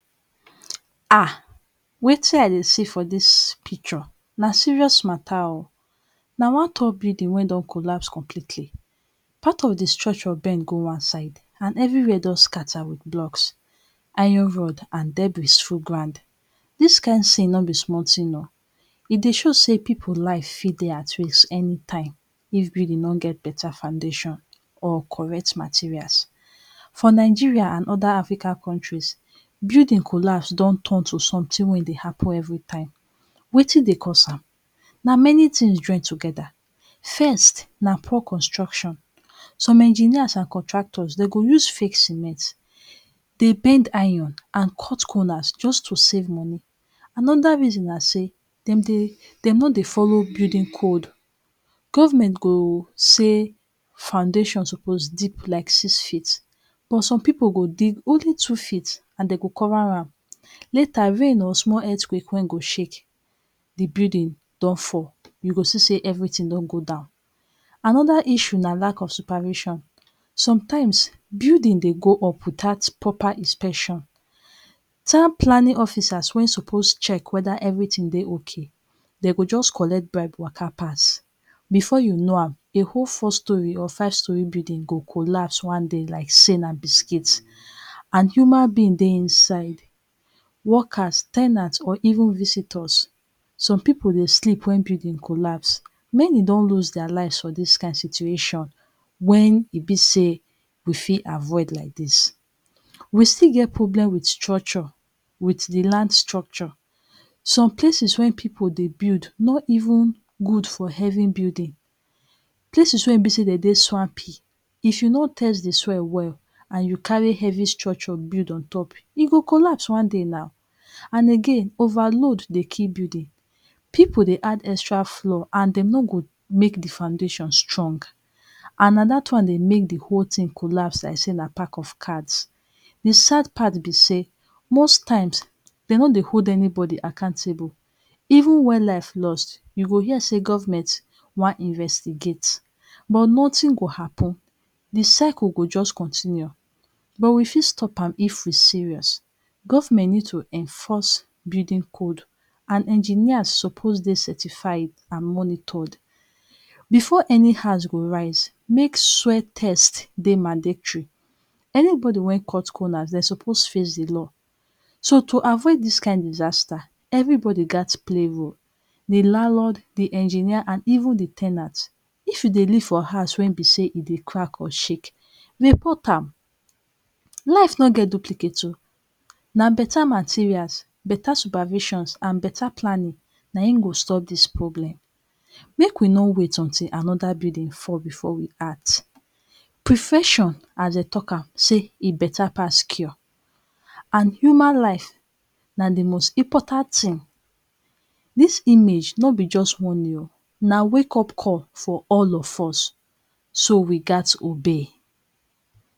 Ha! wetin i dey see for dis picture na serious matter oh. Na one tall building wey don collapse completely. Part of the structure bend go one side and everywhere don scatter with blocks, iron rod and debris full ground. Dis kind thing no be small thing oh. E dey show sey pipu life fit dey at risk anytime if building no get better foundation or correct materials. For Nigeria and other African countries, building collapse don turn something wey dey happen every time. Wetin dey cause am? Na many things join together. First, na poor construction. Some engineers and constructors de go use fake cement, dey iron and cut corners just to save money. Another reason na sey, de dey de no dey follow build code. Government go say foundation suppose deep like six feet but some pipu go dig only two feet and de go cover am. Later rain or small earthquake wey go shake, the building don fall. You go see sey everything don go down. Another issue na lack of supervision. Sometimes, building dey go up without proper inspection. Town planning officers wey suppose check whether everything dey okay, de go just collect bribe waka pass. Before you know am, a whole four storey or five storey building go collapse one day like sey na biscuit and human being dey inside, workers, ten ants or even visitors. Some pipu dey sleep when building collapse. Many don lose their lives for dis kind situation when e be sey we fit avoid like dis. We still get problem with structure, with the land structure. Some places wey pipu dey build, no even good for heavy building. Places wey e be sey de dey swampy. If you no test the soil well and you carry heavy structure build on top, e go collapse one day now. And again, over load dey kill building. Pipu dey add extra floor and de no go make the foundation strong and na dat one dey make the whole thing collapse like sey na pack of cards. The sad part be sey, most times, de no dey hold anybody accountable. Even when life lost, you go hear sey government wan investigate but nothing go happen. The circle go just continue. But we fit stop am if we serious. Government need to enforce building code and engineers suppose dey certified and monitored. Before any house go rise, make soil test dey mandatory. Anybody wey cut corners, de suppose face the law. So, to avoid dis kind disaster, everybody gat play role. The landlord, the engineer and even the ten ant. If you dey live for house wey e be sey e dey crack oir shake, report am. Life no get duplicate oh. Na better materials, better supervisions and better planning, na im go stop dis problem. Make we no wait until another building fall before we act. Prevention as de talk am sey e better pass cure and human life na the most important thing. Dis image no be just warning oh, na wake up call for all of us. So, we gat obey.